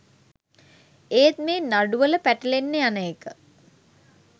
ඒත් මේ නඩුවල පැටලෙන්න යන එක